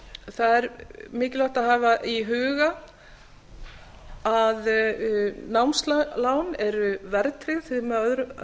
það er mikilvægt að hafa í huga að námslán eru verðtryggð með